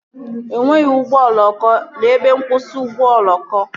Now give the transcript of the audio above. E nweghị ụgbọ oloko n'ebe nkwụsị ụgbọ oloko